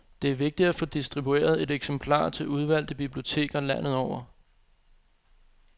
Det er vigtigt at få distribueret et eksemplar til udvalgte biblioteker landet over.